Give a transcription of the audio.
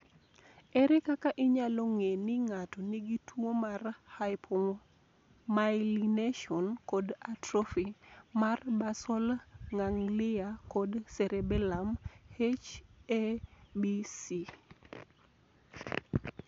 Ere kaka inyalo ng'e ni ng'ato nigi tuwo mar hypomyelination kod atrophy mar basal ganglia kod cerebellum (H ABC)?